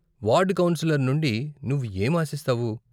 Ward councillor నుండి నువ్వు ఏం ఆశిస్తావు?